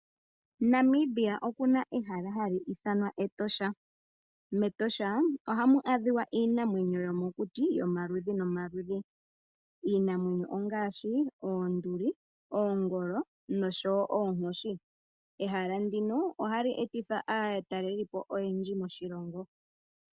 Namibia okuna ehala hali ithanwa Etosha. Metosha ohamu a dhika iinamwenyo yo mo kuti, yo maludhi no maludhi. Iinamwenyo ongaashi: oonduli, oongolo, nosho woo oonkoshi. Ehala ndino ohali etitha aa talelipo oyendji moshilongo .